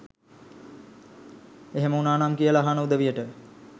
එහෙම උනානම් කියලා අහන උදවියට